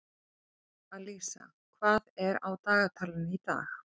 Alísa, hvað er á dagatalinu í dag?